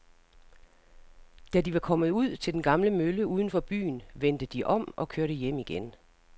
Da de var kommet ud til den gamle mølle uden for byen, vendte de om og kørte hjem igen.